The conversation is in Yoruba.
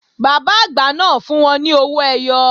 Bàbá àgbà náà fún wọn ní owó ẹyọ